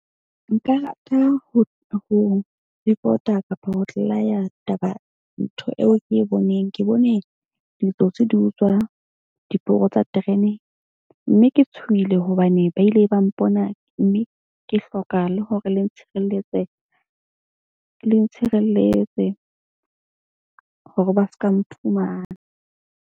Nka rata ho report-a kapa ho taba ntho eo ke e boneng. Ke bone ditsotsi di utswa diporo tsa terene. Mme ke tshohile hobane ba ile ba mpona. Mme ke hloka le hore le ntshireletse. Le ntshireletse hore ba ska mphumana.